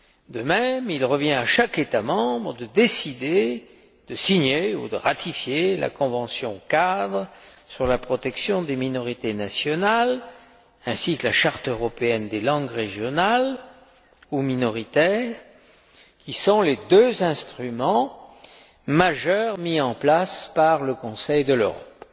De même, il revient à chaque État membre de décider de signer ou de ratifier la convention cadre sur la protection des minorités nationales ainsi que la charte européenne des langues régionales ou minoritaires, qui sont les deux instruments majeurs mis en place par le Conseil de l'Europe.